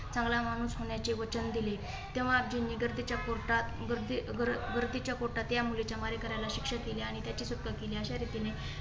चांगला माणूस होण्याचे वचन दिले. तेव्हा आपजीनीनी गढीच्या पोटात गर्दीच्या पोटात त्यामुळे त्या मुलीच्या मारेकरला शिक्षा केली आणि त्याची कत्तल केली. अशा रीतीने